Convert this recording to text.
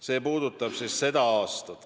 See puudutab seda aastat.